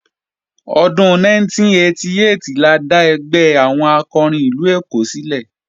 Ọdún 1988 la dá ẹgbẹ́ àwọn akọrin ìlú Èkó sílẹ̀